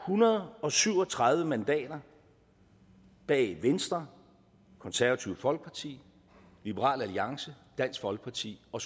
hundrede og syv og tredive mandater bag venstre konservative folkeparti liberal alliance dansk folkeparti og